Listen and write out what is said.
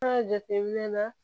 An ka jateminɛ na